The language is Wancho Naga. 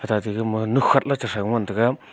tate gama nukhatley cha thrau ngan taga.